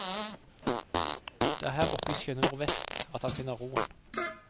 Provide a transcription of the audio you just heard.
Det er her oppe i skjønne nordvest at han finner roen.